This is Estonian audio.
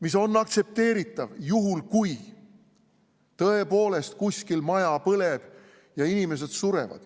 See on aktsepteeritav juhul, kui tõepoolest kuskil maja põleb ja inimesed surevad.